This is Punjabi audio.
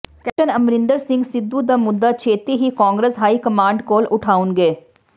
ਕੈਪਟਨ ਅਮਰਿੰਦਰ ਸਿੰਘ ਸਿੱਧੂ ਦਾ ਮੁੱਦਾ ਛੇਤੀ ਹੀ ਕਾਂਗਰਸ ਹਾਈ ਕਮਾਂਡ ਕੋਲ ਉਠਾਉਣਗੇ